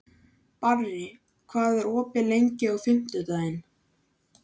Barri, hvað er opið lengi á fimmtudaginn?